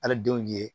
Ali denw ye